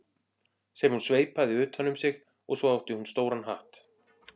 sem hún sveipaði utan um sig og svo átti hún stóran hatt.